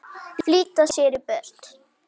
Flýta sér í burtu.